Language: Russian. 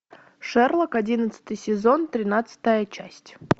шерлок одиннадцатый сезон тринадцатая часть